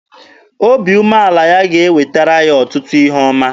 Obi umeala ya ga-ewetara ya ọtụtụ ihe ọma.